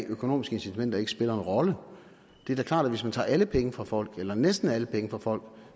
økonomiske incitamenter ikke spiller en rolle det er da klart at hvis man tager alle penge fra folk eller næsten alle penge fra folk